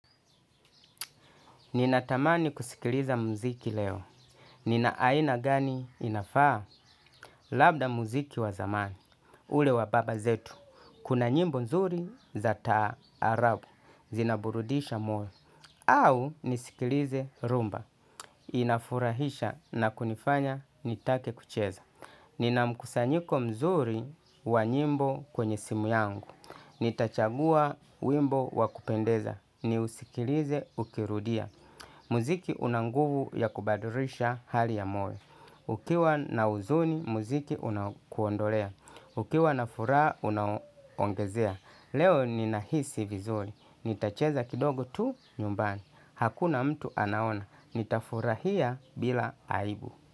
Nina tamani kusikiliza mziki leo. Nina aina gani inafaa? Labda mziki wa zamani. Ule wa baba zetu. Kuna nyimbo mzuri za taarabu. Zinaburudisha moyo au nisikilize rhumba. Inafurahisha na kunifanya nitake kucheza. Nina mkusanyiko mzuri wa nyimbo kwenye simu yangu. Nitachagua wimbo wa kupendeza. Ni usikilize, ukirudia mzilo una nguvu ya kubadilisha hali ya moyo ukiwa na huzuni mzili unakuondolea. Ukiwa na furaha unaongezea. Leo ninahisi vizuri. Nitacheza kidogo tu, nyumbani. Hakuna mtu anaona. Nita furahia bila aibu.